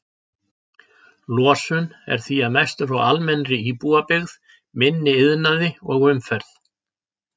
Losun er því að mestu frá almennri íbúabyggð, minni iðnaði og umferð.